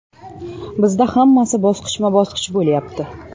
Bizda hammasi bosqichma-bosqich bo‘lyapti.